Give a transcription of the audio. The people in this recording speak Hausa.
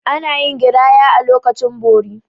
Ana yin giraya a lokacin bori.